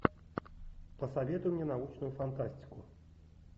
посоветуй мне научную фантастику